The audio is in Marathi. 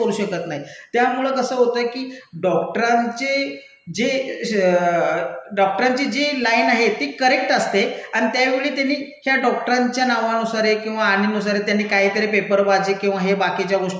करू शकत नाही, त्यामुळं कसं होतं की डॉक्टरांचे जे, डॉक्टरांचे जे लाईन आहे ते करेक्ट असते अन् त्यावेळी त्यांनी ह्या डॉक्टरांच्या नावानुसार ये किंवा आनेनुसारे त्यांनी काहीतरी पेपरबाजी किंवा हे बाकीच्या